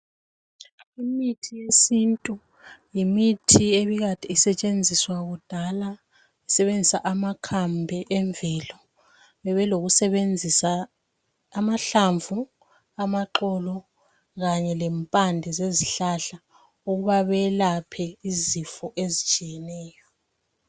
Imithi yesintu yimithi ebikade isetshenziswa kudala kusebenzisa amakhambi emvelo bebelokusebenzisa amahlamvu , amaxolo kanye lempande zezihlahla ukuba belaphe izifo ezitshiyeneyo .